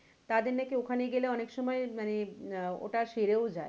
তাদের নাকি ওখানে গেলে অনেক সময় মানে আহ ওটা সেরেও যায়।